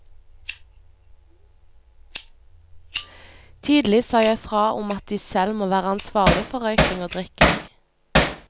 Tidlig sa jeg fra om at de selv må være ansvarlige for røyking og drikking.